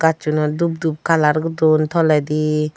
gajchunot dup dup colour dun toledi.